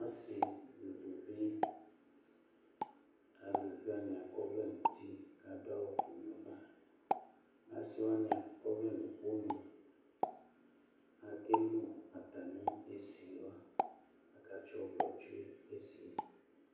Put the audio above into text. Asɩ nu uluvi eluviwa adu awu nu ava asiwani akɔ ɔvlɛ nuɩkponu akelu atami esiwa akatsi ɔvlɔ tsue nesie